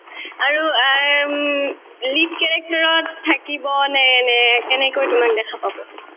আৰু uh um lead character ত থাকিব নে নে কেনেকৈ তোমাক দেখা পাব